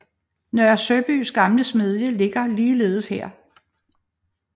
Nørre Søbys gamle smedie ligger ligeledes her